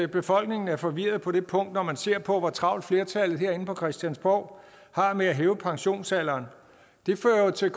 befolkningen er forvirret på det punkt når man ser på hvor travlt flertallet herinde på christiansborg har med at hæve pensionsalderen det fører jo til